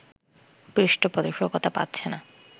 পৃষ্ঠপোষকতা পাচ্ছে না